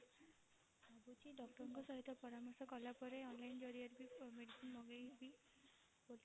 ଭାବୁଛି doctor ଙ୍କ ସହିତ ପରାମର୍ଶ କଳା ପରେ online ଜରିଆରେ medicine ମଗେଇବି ବୋଲି